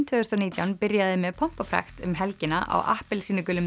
tvö þúsund og nítján byrjaði með pompi og prakt um helgina á appelsínugulum